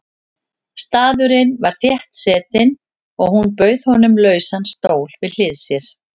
Staðurinn var þéttsetinn og hún bauð honum lausan stól við hlið sér.